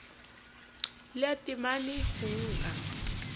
le ya taemane ho ka